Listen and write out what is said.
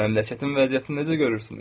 Məmləkətin vəziyyətini necə görürsünüz?